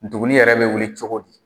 Nduguni yɛrɛ bɛ wuli cogo di?